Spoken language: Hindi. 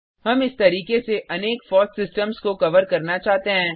हम इस तरीके से अनेक फॉस सिस्टम्स को कवर करना चाहते हैं